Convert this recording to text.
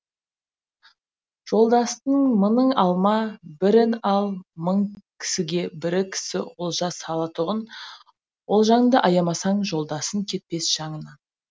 жолдастың мыңың алма бірін ал мың кісіге бір кісі олжа салатұғын олжаңды аямасаң жолдасың кетпес жаныңнан